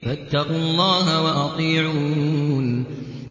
فَاتَّقُوا اللَّهَ وَأَطِيعُونِ